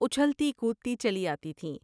اچھلتی کودتی چلی آتی تھیں ۔